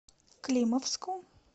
климовску